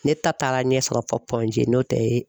Ne ta taara ɲɛ sɔrɔ n'o tɛ ye.